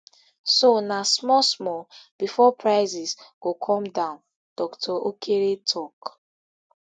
so na small small bifor prices go come down dr okere tok